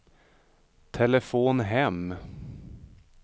telefon hem